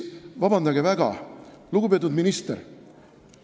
Vabandage väga, lugupeetud minister!